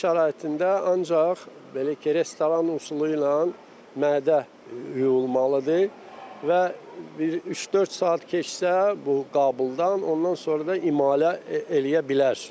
Ev şəraitində ancaq belə ki, restoran üsulu ilə mədə yuyulmalıdır və bir üç-dörd saat keçsə bu qabıldan, ondan sonra da imalə eləyə bilərsiniz.